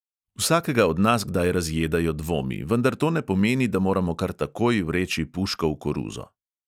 Vsakega od nas kdaj razjedajo dvomi, vendar to ne pomeni, da moramo kar takoj vreči puško v koruzo.